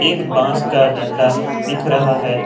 एक बांस का डंडा दिख रहा है।